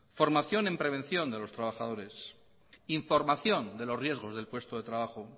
formación en prevención de los trabajadores información de los riesgos del puesto de trabajo